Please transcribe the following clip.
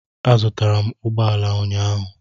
Azụtara m ụgbọ ala ụnyahụ.